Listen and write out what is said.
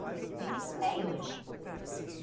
Tem muitos meios hoje.